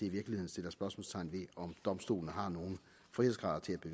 i virkeligheden sættes spørgsmålstegn ved om domstolene har nogen frihedsgrader at